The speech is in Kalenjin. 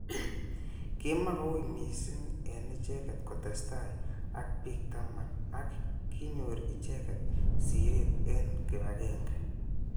Kimakoui missing eng icheket kotestai ak bik taman ak kinyor icheket siret eng kipagenge.